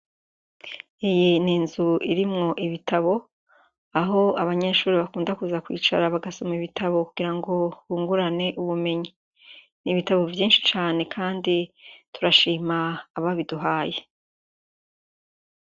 Iyi ni inzu irimwo ibitabo, aho abanyeshure bakunda kuza kwicara bagasoma ibitabo kugirango bungurane ubumenyi. Ni ibitabo vyinshi cane kandi turashima ababiduhaye.